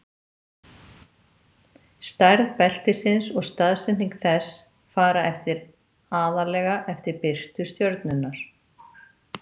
Stærð beltisins og staðsetning þess fara eftir aðallega eftir birtu stjörnunnar.